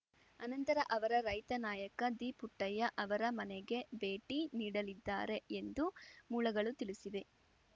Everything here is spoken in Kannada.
ಅನಂತರ ಅವರ ರೈತ ನಾಯಕ ದಿಪುಟ್ಟಣ್ಣಯ್ಯ ಅವರ ಮನೆಗೆ ಭೇಟಿ ನೀಡಲಿದ್ದಾರೆ ಎಂದು ಮೂಲಗಳು ತಿಳಿಸಿವೆ